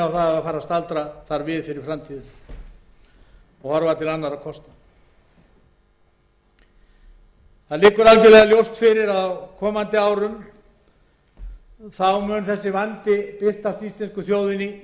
að fara að staldra þar við fyrir framtíðina og horfa til annarra kosta það liggur ljóst fyrir að á komandi árum mun sá mikli vandi sem við stöndum frammi fyrir birtast íslensku